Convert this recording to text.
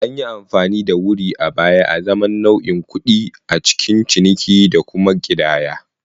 An yi amfani da wuree a baya azaman nau'in kuɗi a cikin ciniki da kuma ƙidaya.